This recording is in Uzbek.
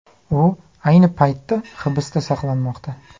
U ayni paytda hibsda saqlanmoqda.